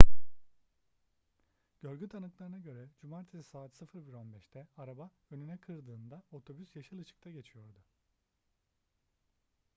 görgü tanıklarına göre cumartesi saat 01:15'te araba önüne kırdığında otobüs yeşil ışıkta geçiyordu